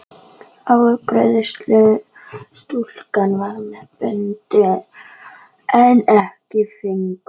Afgreiðslustúlkan var með bundið um einn fingurinn.